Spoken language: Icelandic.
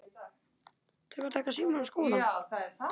Pabbi minn?